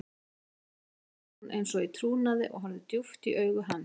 Elísa sagði hún eins og í trúnaði og horfði djúpt í augu hans.